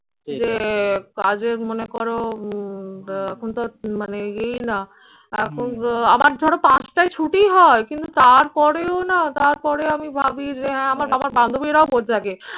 যে কাজের মনে করো উম আহ এখন তো আর মানে ই না এখন আবার ধরো পাঁচটায় ছুটি হয় কিন্তু তারপরেও না তারপরে আমি ভাবি যে হ্যাঁ আমার আমার বান্ধবীরাও বলতে থাকে